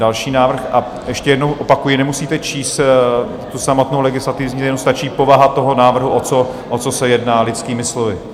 Další návrh, a ještě jednou opakuji, nemusíte číst tu samotnou legislativní změnu, stačí povaha toho návrhu, o co se jedná, lidskými slovy.